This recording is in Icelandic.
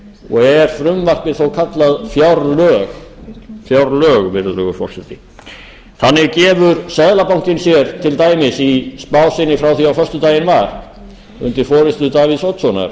og er frumvarpið þó kallað fjárlög virðulegi forseti þannig gefur seðlabankinn sér til dæmis í spá sinni frá því á föstudaginn var undir forustu davíðs oddssonar